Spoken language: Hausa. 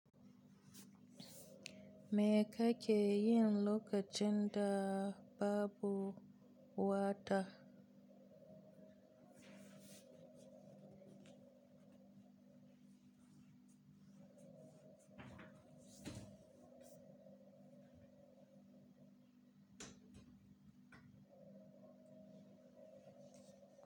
Me kake yi lokacin da babu wata?